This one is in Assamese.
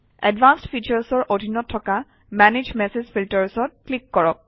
এডভান্সড Features অৰ অধীনত থকা মানাগে মেছেজ filters অত ক্লিক কৰক